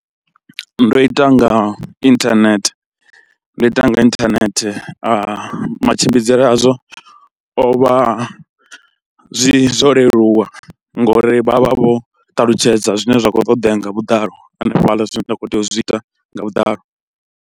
Ndo ita nga inthanethe, ndo ita nga inthanethe matshimbidzele azwo o vha zwi zwo leluwa ngori vha vha vho ṱalutshedza zwine zwa khou ṱoḓea nga vhuḓalo hanefhaḽa zwithu zwine nda khou tea u zwi ita nga vhuḓalo.